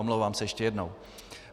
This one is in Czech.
Omlouvám se ještě jednou.